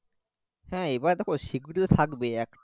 হ্যাঁ এবার দেখো security তো থাকবেই একটা